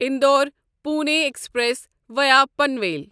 Indore Pune express via Panvel